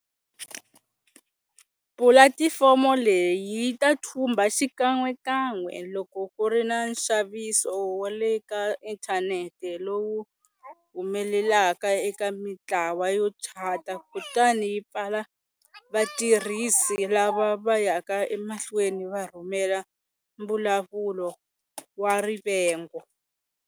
Pulatifomo leyi yi ta thumba xikan'wekan'we loko ku ri na nxaviso wa le ka inthanete lowu humelelaka eka mitlawa yo chata kutani yi pfala vatirhisi lava va yaka emahlweni va rhumela mbulavulo wa rivengo.